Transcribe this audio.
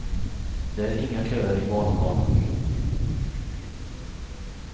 Det är inga köer i vallokalen.